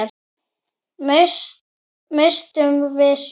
Misstum við sjö?